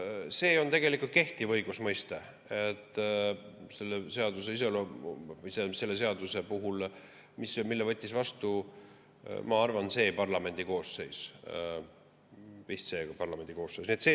See on tegelikult kehtiv õigusmõiste ja selle seaduse võttis vastu, ma arvan, see parlamendikoosseis.